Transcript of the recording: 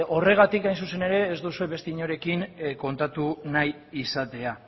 horregatik hain zuzen ere ez duzue beste inorekin kontatu nahi izatea